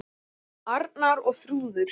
Arnar og Þrúður.